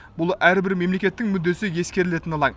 бұл әрбір мемлекеттің мүддесі ескерілетін алаң